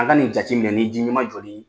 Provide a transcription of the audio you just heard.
An ka nin jatiminɛ ni ji ɲɛma jolen ye